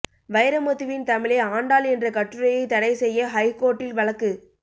வைரமுத்துவின் தமிழை ஆண்டாள் என்ற கட்டுரையை தடை செய்ய ஹைகோர்ட்டில் வழக்கு